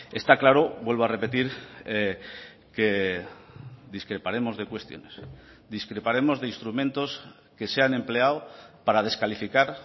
está claro vuelvo a repetir que discreparemos de cuestiones discreparemos de instrumentos que se han empleado para descalificar